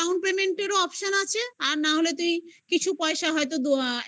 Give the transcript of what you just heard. payment and options আছে আর না হলে তুই কিছু পয়সা হয়তো